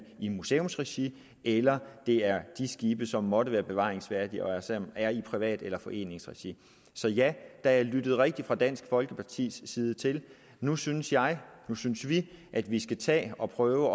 i museumsregi eller det er de skibe som måtte være bevaringsværdige og som er i privat eller foreningsregi så ja der er lyttet rigtigt fra dansk folkepartis side til at nu synes jeg nu synes vi at vi skal tage at prøve